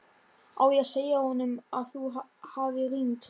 Á ég að segja honum að þú hafir hringt?